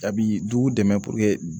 A bi dugu dɛmɛ